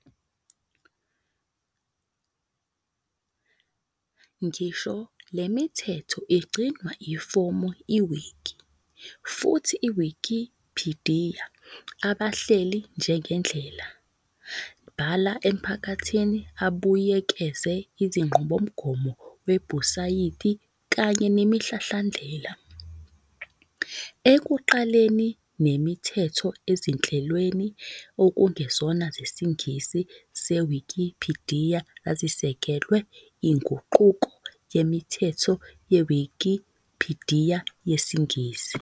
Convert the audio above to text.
Ngisho le mithetho igcinwa ifomu wiki, futhi Wikipidiya abahleli njengendlela bhala emphakathini abuyekeze izinqubomgomo webhusayiti kanye nemihlahlandlela. Ekuqaleni, nemithetho on ezinhlelweni okungezona zesiNgisi seWikipidiya zazisekelwe inguquko yemithetho yeWikipidiya yesiNgisi.